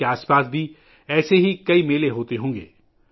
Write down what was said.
آپ کے آس پاس بھی ایسے کئی میلے ضرور ہوں گے